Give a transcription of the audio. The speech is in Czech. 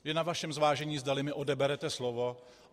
Je na vašem zvážení, zdali mi odeberete slovo.